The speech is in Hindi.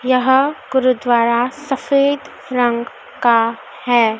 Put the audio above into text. यहां गुरुद्वारा सफेद रंग का है।